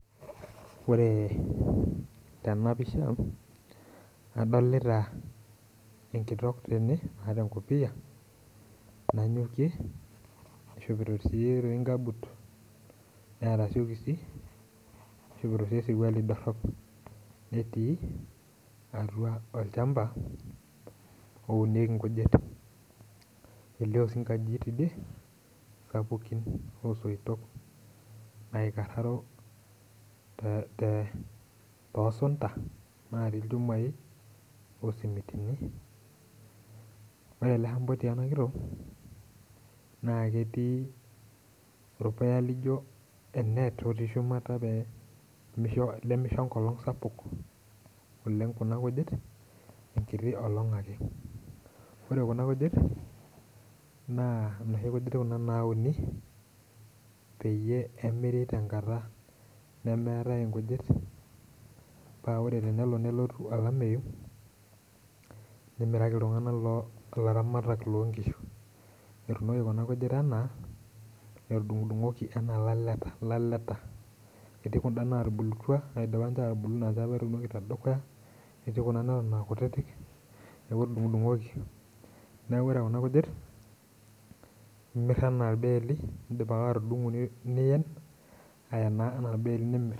Ore tenapisha, adolita enkitok tene naata enkopiyia, nanyokie nishopito si toi nkabut, neeta siokisi, nishopito si esirkwali dorrop. Netii atua olchamba, ounieki nkujit. Elio si nkajijik tidie, sapukin osoitok naikarraro te tosunta natii ilchumai osimitini, ore ele shamba otii enakitok, na ketii orpuya lijo e net otii shumata pemisho lemisho enkolong sapuk oleng kuna kujit, enkiti olong' ake. Ore kuna kujit, naa noshi kujit kuna nauni, peyie emiri tenkata nemeetae inkujit, pa ore tenelo nelotu olameyu, nimiraki iltung'anak lo ilaramatak lonkishu. Etuunoki kuna kujit enaa, edung'dung'oki enaa ilaleta. Etii kunda natubulutua, naidipa nche atubulu, etii kuna neton ninche akutitik, neeku etudung'dung'oki kuna kujit, imir enaa irbeeli, idip ake atudung'o nien aenaa enaa irbeeli nimir.